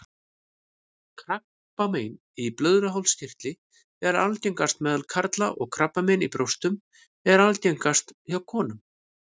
Krabbamein í blöðruhálskirtli er algengast meðal karla og krabbamein í brjóstum er algengast hjá konum.